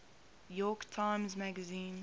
york times magazine